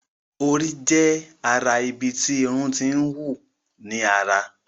Orí jé ará ibí tí Irun t'in wù ní àrà.